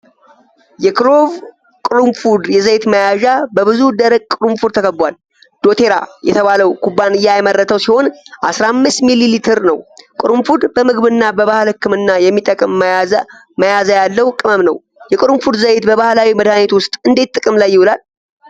የክሎቭ (ቅርንፉድ) የዘይት መያዣ በብዙ ደረቅ ቅርንፉዶች ተከቧል። 'ዶቴራ' የተባለው ኩባንያ ያመረተው ሲሆን 15 ሚሊ ሊትር ነው። ቅርንፉድ በምግብና በባህል ሕክምና የሚጠቅም መዓዛ ያለው ቅመም ነው። የቅርንፉድ ዘይት በባህላዊ መድሃኒት ውስጥ እንዴት ጥቅም ላይ ይውላል?